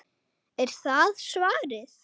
Er það svarið?